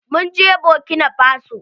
Mun je bokinafaso.